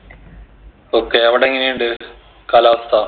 okay അവിടെ എങ്ങനെ ഇണ്ട് കാലാവസ്ഥ